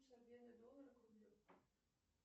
курс обмена доллара к рублю